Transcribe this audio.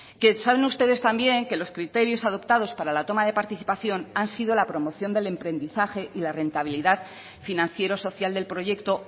que saben ustedes también que los criterios adoptados para la toma de participación han sido la promoción del emprendizaje y la rentabilidad financiero social del proyecto